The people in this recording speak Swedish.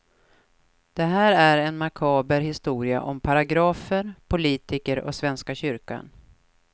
Det här är en makaber historia om paragrafer, politiker och svenska kyrkan.